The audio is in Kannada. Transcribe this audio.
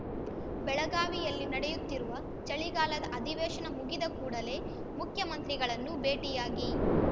ಬೆಳಗಾವಿಯಲ್ಲಿ ನಡೆಯುತ್ತಿರುವ ಚಳಿಗಾಲದ ಅಧಿವೇಶನ ಮುಗಿದ ಕೂಡಲೆ ಮುಖ್ಯಮಂತ್ರಿಗಳನ್ನು ಭೇಟಿಯಾಗಿ